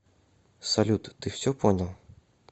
салют ты все понял